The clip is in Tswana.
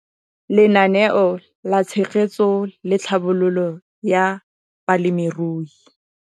Lenaane la Tshegetso le Tlhabololo ya Balemirui